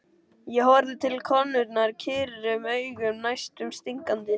Ég horfði til konunnar kyrrum augum, næstum stingandi.